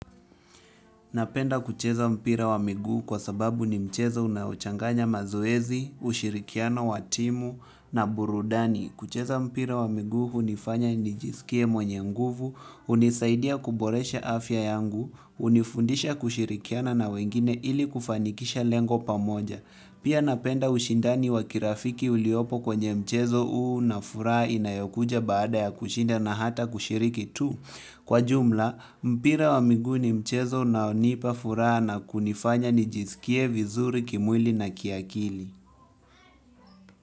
Napenda kucheza mpira wa miguu kwa sababu ni mchezo unaochanganya mazoezi, ushirikiano wa timu na burudani. Kucheza mpira wa miguu hunifanya nijisikie mwenye nguvu, hunisaidia kuboresha afya yangu, unifundisha kushirikiana na wengine ili kufanikisha lengo pamoja. Pia napenda ushindani wa kirafiki uliopo kwenye mchezo huu na furaha inayokuja baada ya kushinda na hata kushiriki tu. Kwa jumla, mpira wa miguu ni mchezo unaonipa furaha na kunifanya nijisikie vizuri kimwili na kiakili.